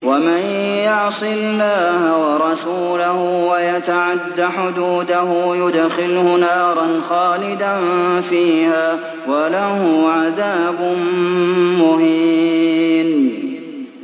وَمَن يَعْصِ اللَّهَ وَرَسُولَهُ وَيَتَعَدَّ حُدُودَهُ يُدْخِلْهُ نَارًا خَالِدًا فِيهَا وَلَهُ عَذَابٌ مُّهِينٌ